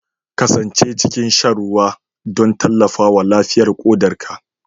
Kasance cikin shan ruwa don tallafawa lafiyar ƙodarka